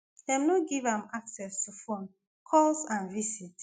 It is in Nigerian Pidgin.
dem no give am access to phone calls and visits